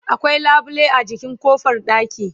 akwai labule a jikin ƙofar ɗaki